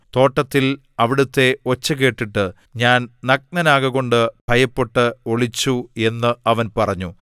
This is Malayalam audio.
തോട്ടത്തിൽ അവിടുത്തെ ഒച്ച കേട്ടിട്ട് ഞാൻ നഗ്നനാകകൊണ്ട് ഭയപ്പെട്ട് ഒളിച്ചു എന്ന് അവൻ പറഞ്ഞു